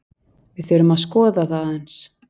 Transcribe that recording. Við þurfum að skoða það aðeins.